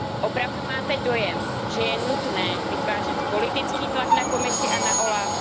Opravdu máte dojem, že je nutné vytvářet politický tlak na Komisi a na OLAF?